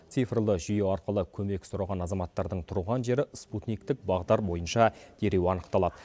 цифрлы жүйе арқылы көмек сұраған азаматтардың тұрған жері спутниктік бағдар бойынша дереу анықталады